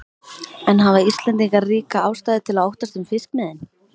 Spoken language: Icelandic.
En hafa Íslendingar ríka ástæðu til að óttast um fiskimiðin?